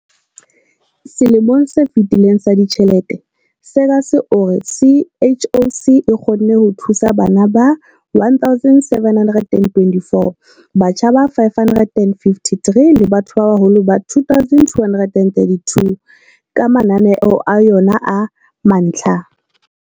Selemong se fetileng sa ditjhelete, Seegers o re CHOC e kgonne ho thusa bana ba 1 724, batjha ba 553 le batho ba baholo ba 2 232 ka mananeo a yona a mantlha.